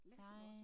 Læser du også så?